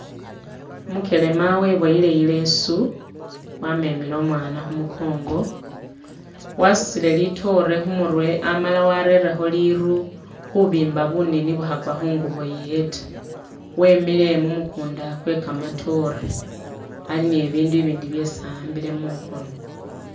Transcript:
Umugelema weboyele ileesu wamemele umwana khumugongo wasudile litoore khumurwe amala werelekho liru khubimba bunini bukhagwe khungubo yewe ta, wemile mumugunda gwega matoore ali ni bindu bindi byesi ahambile mukhono.